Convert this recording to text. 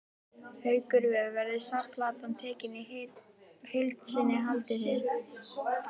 Haukur Viðar: Verður safnplatan tekin í heild sinni haldið þið?